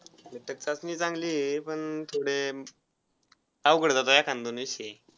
घटक चाचणी चांगली आहे पण थोडे अवघड .